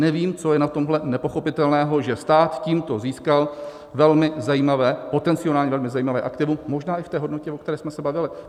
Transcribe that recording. Nevím, co je na tomhle nepochopitelného, že stát tímto získal velmi zajímavé, potenciálně velmi zajímavé aktivum možná i v té hodnotě, o které jsme se bavili.